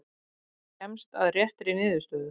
Kemst að réttri niðurstöðu.